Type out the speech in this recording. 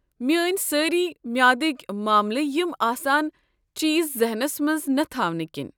میٲنۍ سٲری معیادٕكۍ ماملہٕ یِم آسان چیز ذحنس منٛز نہ تھاونہٕ كِنۍ۔